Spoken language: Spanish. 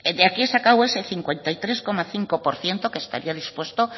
de aquí he sacado ese cincuenta y tres coma cinco por ciento que estaría dispuesto